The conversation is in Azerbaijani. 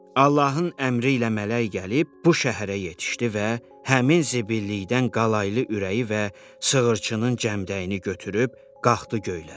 Allahın əmri ilə mələk gəlib bu şəhərə yetişdi və həmin zibillikdən qalaylı ürəyi və sığırçının cəmdəyini götürüb qalxdı göylərə.